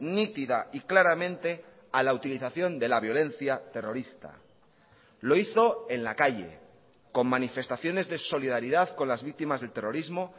nítida y claramente a la utilización de la violencia terrorista lo hizo en la calle con manifestaciones de solidaridad con las víctimas del terrorismo